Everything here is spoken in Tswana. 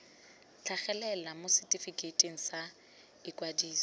tlhagelela mo setefikeiting sa ikwadiso